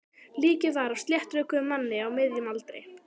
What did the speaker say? Líkið var af sléttrökuðum manni á miðjum aldri.